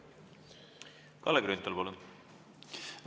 Kalle Grünthal, palun!